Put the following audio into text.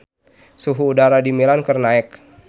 Suhu udara di Milan keur naek